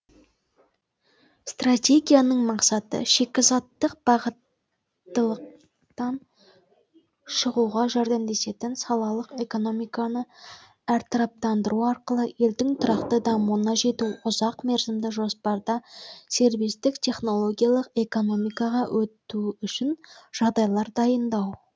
стратегияның мақсаты шикізаттық бағыттылықтан шығуға жәрдемдесетін салалық экономиканы әртараптандыру арқылы елдің тұрақты дамуына жету ұзақ мерзімді жоспарда сервистік технологиялық экономикаға өту үшін жағдайлар дайындау